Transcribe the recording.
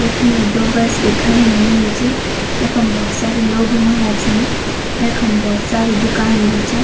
यख्मी दो बस भी खड़ीं हुयीं च यखम भोत सारा लोग हुयां छन यखम भोत सारी दुकान भी च।